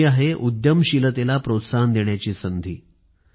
हि आहे उद्यमशीलतेला प्रोत्साहन देण्याची संधी